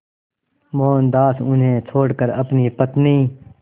मोहनदास उन्हें छोड़कर अपनी पत्नी